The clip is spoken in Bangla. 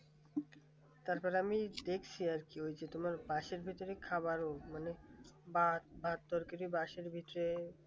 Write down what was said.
তারপর আমি দেখছি আর কি ওই যে তোমার বাসের ভিতর খাবার মানে ভাত ভাত তরকারি